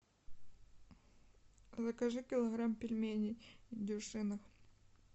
закажи килограмм пельменей дюшиных